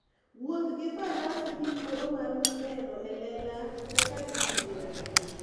Wuoth gi faras miyi thuolo mar neno e lela kaka thim ber.